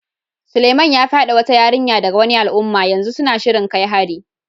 Suleiman ya fyade wata yarinya daga wani al'umma, yanzu suna shirin kai hari.